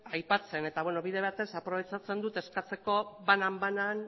aipatzen eta bide batez aprobetxatzen dut eskatzeko bananabanan